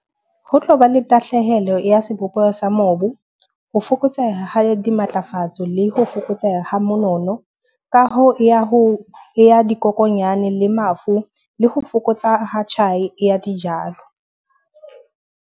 Ho tlo ba le tahlehelo ya sebopeho sa mobu, ho fokotseha dimatlafatso le ho fokotseha ha monono. Kaho ya ho ya dikokonyana le mafu, le ho fokotsa ho tjhai ya dijalo.